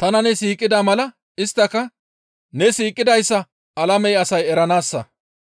tana ne siiqida mala isttaka ne siiqidayssa alame asay eranaassa.